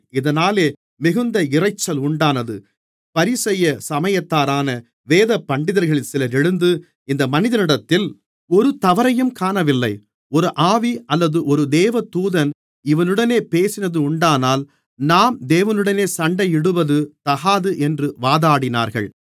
இதனாலே மிகுந்த இரைச்சல் உண்டானது பரிசேய சமயத்தாரான வேதபண்டிதர்களில் சிலர் எழுந்து இந்த மனிதனிடத்தில் ஒரு தவறையும் காணவில்லை ஒரு ஆவி அல்லது ஒரு தேவதூதன் இவனுடனே பேசினதுண்டானால் நாம் தேவனுடனே சண்டையிடுவது தகாது என்று வாதாடினார்கள்